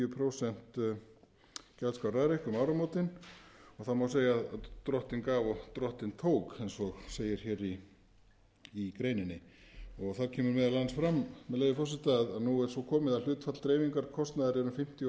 prósent gjaldskrá rarik um áramótin og það má segja að drottinn gaf og drottinn tók eins og segir í greininni þá kemur meðal annars fram með leyfi forseta að nú er svo komið að hlutfall dreifingarkostnaðar er um fimmtíu